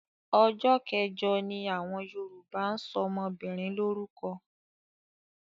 Ọjọ́ kẹjọ ni àwọn Yorùbá ń ṣọmọbìnrin lórúkọ.